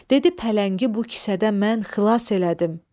Dedi pələngi bu kisədən mən xilas elədim.